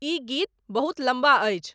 इ गीत बहुत लम्बा अछि